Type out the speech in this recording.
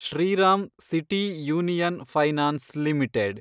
Shriram City Union Finance limited